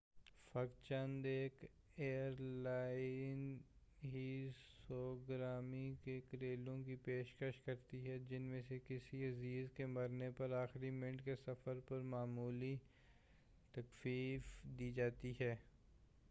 فقط چند ایک ایر لائنیں ہی سوگواری کے کرایوں کی پیشکش کرتی ہیں جن میں کسی عزیز کے مرنے پر آخری منٹ کے سفر پر معمولی تخفیف دی جاتی ہے